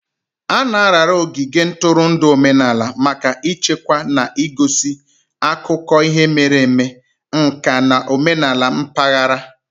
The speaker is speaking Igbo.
A na-arara ogige ntụrụndụ omenala maka ichekwa na igosi akụkọ ihe mere eme, nka na omenala mpaghara.